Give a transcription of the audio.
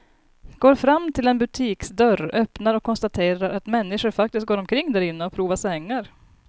Går fram till en butiksdörr, öppnar och konstaterar att människor faktiskt går omkring därinne och provar sängar.